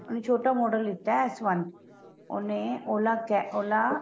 ਉਹਨੇ ਛੋਟਾ ਲਿੱਤਾ ਏ S one ਉਹਨੇ OLA ਕੇ OLA